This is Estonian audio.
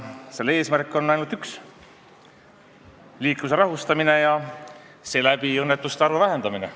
Selle eesmärk on ainult üks: liikluse rahustamine ja seeläbi õnnetuste arvu vähendamine.